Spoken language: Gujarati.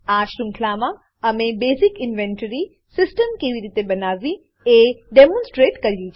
આ શૃંખલામાં અમે basic inventory basic inventory system કેવી રીતે બનાવવી એ ડેમોનસ્ટ્રેટ કર્યું છે